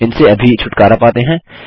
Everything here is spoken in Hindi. इनसे अभी छुटकारा पाते हैं